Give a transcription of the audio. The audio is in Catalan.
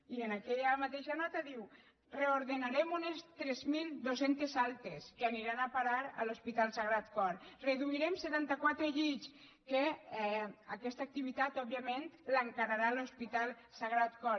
i en aquella mateixa nota diu reordenarem unes tres mil dos cents altes que aniran a parar a l’hospital sagrat cor reduirem setanta quatre llits que aquesta activitat òbviament l’encararà l’hospital sagrat cor